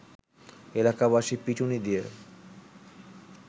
এলাকাবাসী পিটুনি দিয়ে